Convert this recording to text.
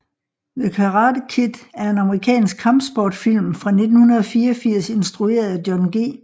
The Karate Kid er en amerikansk kampsportsfilm fra 1984 instrueret af John G